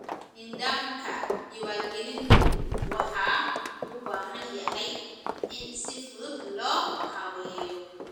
Nidaamka diiwaangelintu waxa uu u baahan yahay in si fudud loo habeeyo.